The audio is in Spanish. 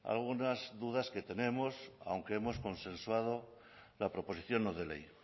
algunas dudas que tenemos aunque hemos consensuado la proposición no de ley